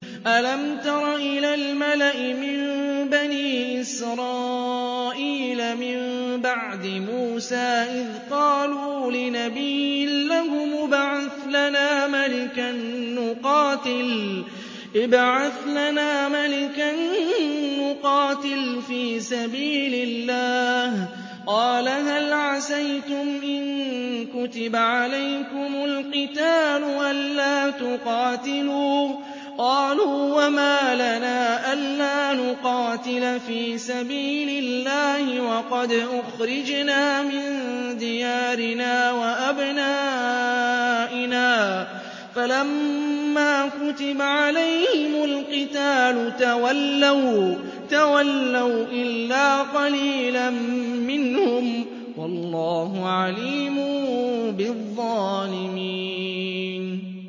أَلَمْ تَرَ إِلَى الْمَلَإِ مِن بَنِي إِسْرَائِيلَ مِن بَعْدِ مُوسَىٰ إِذْ قَالُوا لِنَبِيٍّ لَّهُمُ ابْعَثْ لَنَا مَلِكًا نُّقَاتِلْ فِي سَبِيلِ اللَّهِ ۖ قَالَ هَلْ عَسَيْتُمْ إِن كُتِبَ عَلَيْكُمُ الْقِتَالُ أَلَّا تُقَاتِلُوا ۖ قَالُوا وَمَا لَنَا أَلَّا نُقَاتِلَ فِي سَبِيلِ اللَّهِ وَقَدْ أُخْرِجْنَا مِن دِيَارِنَا وَأَبْنَائِنَا ۖ فَلَمَّا كُتِبَ عَلَيْهِمُ الْقِتَالُ تَوَلَّوْا إِلَّا قَلِيلًا مِّنْهُمْ ۗ وَاللَّهُ عَلِيمٌ بِالظَّالِمِينَ